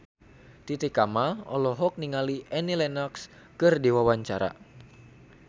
Titi Kamal olohok ningali Annie Lenox keur diwawancara